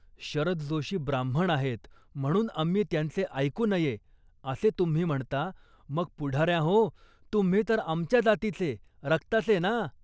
"शरद जोशी ब्राह्मण आहेत म्हणून आम्ही त्यांचे ऐकू नये असे तुम्ही म्हणता, मग पुढाऱ्यांहो. तुम्ही तर आमच्या जातीचे , रक्ताचे ना